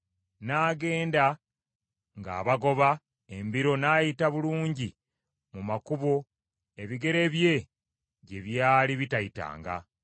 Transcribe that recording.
N’agenda ng’abagoba embiro n’ayita bulungi mu makubo ebigere bye gye by’ali bitayitanga.